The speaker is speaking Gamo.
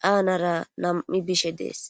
caanara nam7i bishe dees.